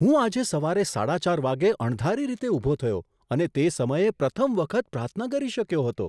હું આજે સવારે સાડા ચાર વાગ્યે અણધારી રીતે ઊભો થયો અને તે સમયે પ્રથમ વખત પ્રાર્થના કરી શક્યો હતો.